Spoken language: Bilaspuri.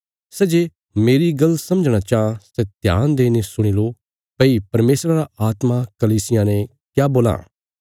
सै जे मेरी गल्ल समझणा चाँह सै ध्यान देईने सुणी लो भई परमेशरा रा आत्मा कलीसियां ने क्या बोलां